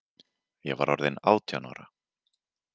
Ég var orðin átján ára.